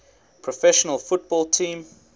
professional football team